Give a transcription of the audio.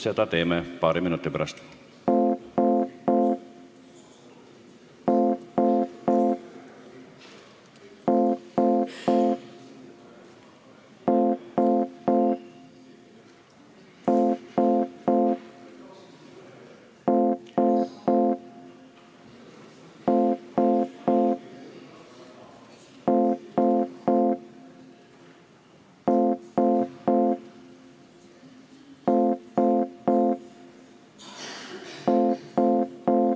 Seda teeme paari minuti pärast.